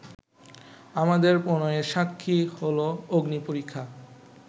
আমাদের প্রণয়ের সাক্ষী হলো অগ্নিপরীক্ষা